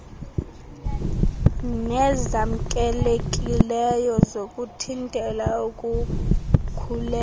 nezamkelekileyo zokuthintela ukukhulelwa